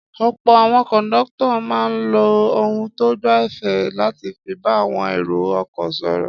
Ọ̀pọ̀ àwọn kọ̀ńdọ́tọ̀ máa ń lo ohùn tó gbẹ̀fẹ̀ láti fi bá àwọn èrò-ọkọ̀ sọ̀rọ̀.